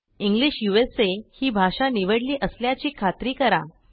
English उसा ही भाषा निवडली असल्याची खात्री करा